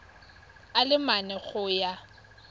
a le mane go ya